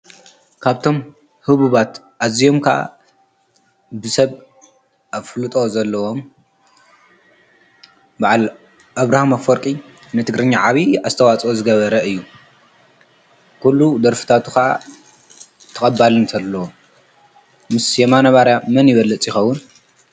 ካብቶም ህቡባት ኣዚዮምካ ብሰብ ኣፍሉጦ ዘለዎም በዓል ኣብርሃም ኣፈርቂ ነቲ ግርኛ ዓብዪ ኣስተዋፅኦ ዝገበረ እዩ ኲሉ ደርፍታቱኻዓ ተቐባል እንተለዎ ምስ የማነባርያ መን ይበለ ፂኸዉን?